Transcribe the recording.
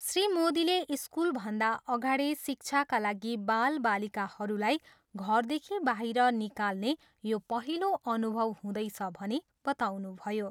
श्री मोदीले स्कुलभन्दा अगाडि शिक्षाका लागि बालबालिकाहरूलाई घरदेखि बाहिर निकाल्ने यो पहिलो अनुभव हुँदैछ भनी बताउनुभयो।